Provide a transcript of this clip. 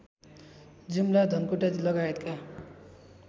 जुम्ला धनकुटा लगायतका